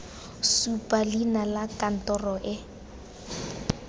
supa leina la kantoro e